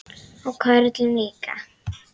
Og körlum líka.